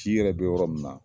C yɛrɛ bɛ yɔrɔ min na